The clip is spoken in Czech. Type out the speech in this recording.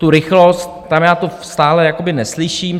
Tu rychlost, tam já to stále jakoby neslyším.